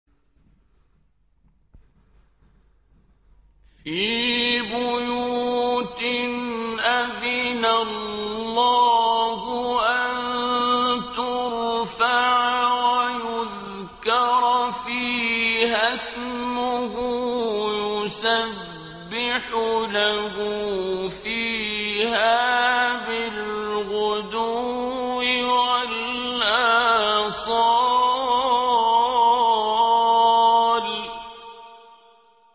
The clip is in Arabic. فِي بُيُوتٍ أَذِنَ اللَّهُ أَن تُرْفَعَ وَيُذْكَرَ فِيهَا اسْمُهُ يُسَبِّحُ لَهُ فِيهَا بِالْغُدُوِّ وَالْآصَالِ